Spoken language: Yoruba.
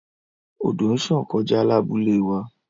Odo nṣàn kọja labule wa